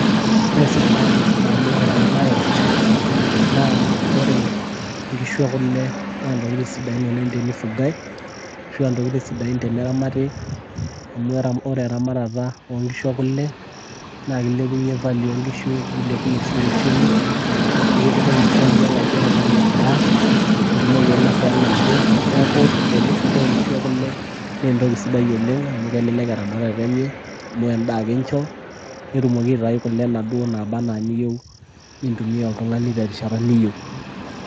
Ore sababu panyor enabae, naa ore nkishu ekule na ntokiting' sidain oleng' tenifugai, arashu ah ntokiting' sidain tene ramati, amu ore eramatata onkishu ekule, na kilepunye value onkishu, nilepunye si uchumi ,nikitumoki aishoo yie oladuo tung'ani endaa, nitumoki ainasa enaake. Neeku tenifugai inkishu ekule, na entoki sidai oleng' amu kesidai eramatata enye. Amu endaa ake incho, netumoki aitayu kule naduo naba enaa eniyieu. Nintumia oltung'ani terishata niyieu.